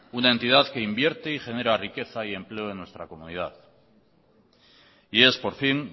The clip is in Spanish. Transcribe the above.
una entidad que invierte y genera riqueza y empleo en nuestra comunidad y es por fin